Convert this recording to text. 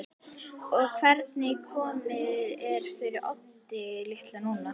Og hvernig komið er fyrir Oddi litla núna.